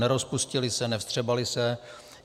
Nerozpustily se, nevstřebaly se.